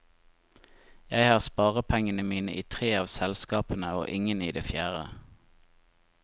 Jeg har sparepengene mine i tre av selskapene og ingen i det fjerde.